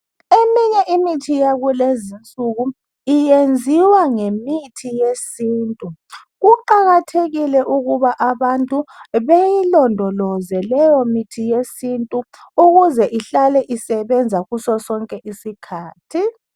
Eminye imithi yakulezinsuku iyenziwa ngemithi yesintu. Kuqakathekile ukuba abantu bayilondoloze leyo mithi yesintu ukuze ihlale isebenza kuso sonke isikhathi.